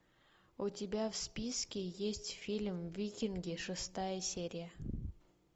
у тебя в списке есть фильм викинги шестая серия